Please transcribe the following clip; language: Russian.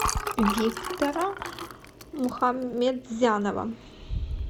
виктора мухаметзянова